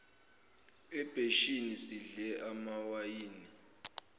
ebheshini sidle amawayini